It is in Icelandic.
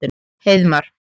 Heiðmar